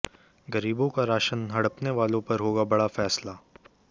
गरीबों का राशन हड़पने वालों पर होगा बड़ा फैसला